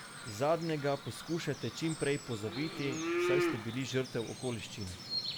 Zadnjega poskušajte čim prej pozabiti, saj ste bili žrtev okoliščin.